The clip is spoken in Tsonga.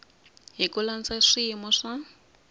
hi ku landza swiyimo swa